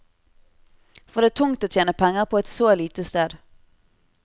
For det er tungt å tjene penger på et så lite sted.